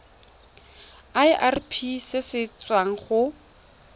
irp se se tswang go